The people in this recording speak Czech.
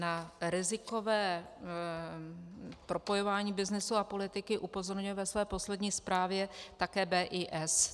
Na rizikové propojování byznysu a politiky upozorňuje ve své poslední zprávě také BIS.